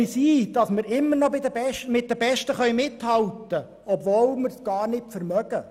Wir bilden uns ein, wir könnten mit den Besten mithalten, obwohl wir das gar nicht vermögen.